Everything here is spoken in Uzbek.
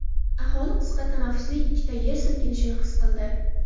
Aholi qisqa tanaffusli ikkita yer silkinishini his qildi.